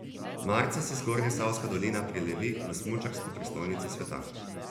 Marca se Zgornjesavska dolina prelevi v smučarsko prestolnico sveta.